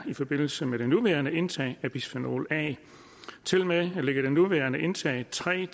i forbindelse med det nuværende indtag af bisfenol a tilmed ligger det nuværende indtag tre